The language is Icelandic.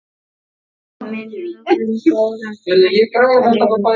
Minning um góðan frænda lifir.